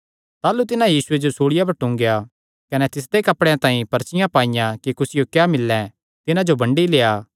ताह़लू तिन्हां यीशुये जो सूल़िया पर टूंगेया कने तिसदे कपड़ेयां तांई पर्चियां पाईयां कि कुसियो क्या मिल्लैं तिन्हां जो बंडी लेआ